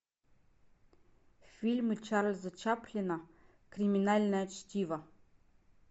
фильмы чарльза чаплина криминальное чтиво